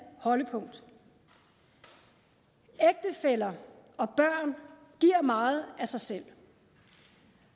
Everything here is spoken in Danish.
holdepunkt ægtefæller og børn giver meget af sig selv